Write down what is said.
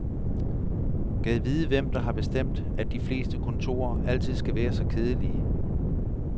Gad vide hvem der har bestemt, at de fleste kontorer altid skal være så kedelige.